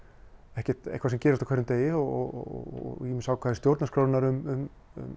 ekki eitthvað sem gerist á hverjum degi og ýmis ákvæði í stjórnarskrá um